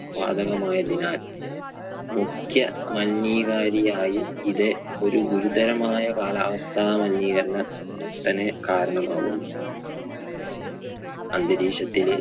വാതകം ആയതിനാൽ മുഖ്യ മലിനീകാരിയായും ഇത് ഒരു ഗുരുതരമായ കാലാവസ്ഥാ മലിനീകരണത്തിന് കാരണമാകുന്നു. അന്തരീക്ഷത്തില്